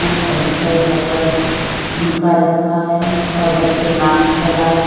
pencil रबड़ उनका रखा है और बच्चे मास्क लगाए हुए--